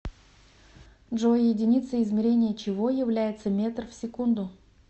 джой единицей измерения чего является метр в секунду